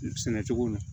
Sɛnɛ cogo ɲɛ